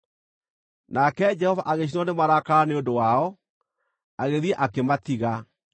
Nake Jehova agĩcinwo nĩ marakara nĩ ũndũ wao, agĩthiĩ akĩmatiga.